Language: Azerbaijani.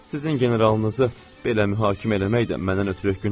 Sizin generalınızı belə mühakimə eləmək də məndən ötrü günahdır.